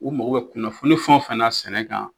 U mago bɛ kunnafoni fɛn o fɛn na sɛnɛ kan